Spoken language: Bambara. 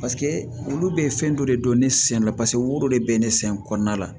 olu be fɛn dɔ de don ne sen la paseke woro de be ne sen kɔɔna la